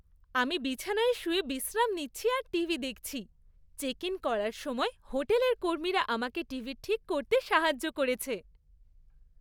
আমি বিছানায় শুয়ে বিশ্রাম নিচ্ছি আর টিভি দেখছি। চেক ইন করার সময় হোটেলের কর্মীরা আমাকে টিভি ঠিক করতে সাহায্য করেছে।